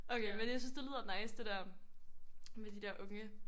Okay men jeg synes det lyder nice det der med de der unge